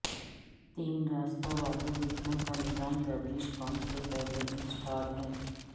تین راستہ valve heating کا نظام گردش پمپ سے پہلے انسٹال ہے